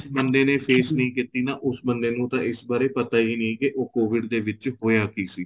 ਜਿਸ ਬੰਦੇ ਨੇ face ਨਹੀਂ ਕੀਤੀ ਨਾ ਉਸ ਬੰਦੇ ਨੂੰ ਤਾਂ ਇਸ ਬਾਰੇ ਪਤਾ ਹੀ ਨਹੀਂ ਕੀ ਉਹ COVID ਦੇ ਵਿੱਚ ਹੋਇਆ ਕੀ ਸੀ